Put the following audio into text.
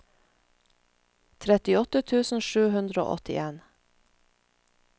trettiåtte tusen sju hundre og åttien